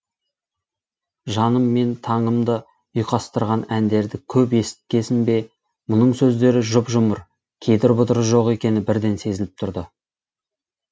жаным мен таңымды ұйқастырған әндерді көп есіткесін бе мұның сөздері жұп жұмыр кедір бұдыры жоқ екені бірден сезіліп тұрды